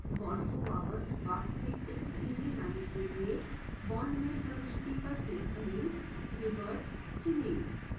bond को वापस वास्तविक स्थिति में लाने के लिए: bond में प्रविष्टि पर क्लिक करें revert चुनें